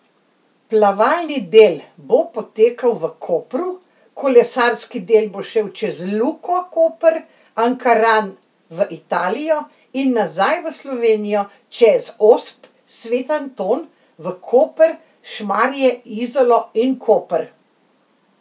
Plavalni del bo potekal v Kopru, kolesarski del bo šel čez Luko Koper, Ankaran, v Italijo in nazaj v Slovenijo čez Osp, Sveti Anton, v Koper, Šmarje, Izolo in Koper.